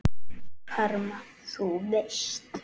Karma. þú veist?